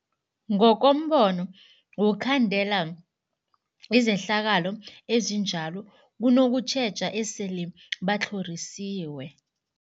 Ngokombono wokhandela izehlakalo ezinjalo kunokutjheja esele batlhorisiwe.